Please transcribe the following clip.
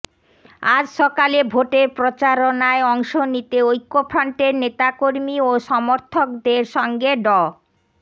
আজ সকালে ভোটের প্রচারণায় অংশ নিতে ঐক্যফ্রন্টের নেতাকর্মী ও সমর্থকদের সঙ্গে ড